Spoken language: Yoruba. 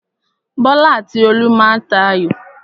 Bọ́lá àti Olú má a tà ayò.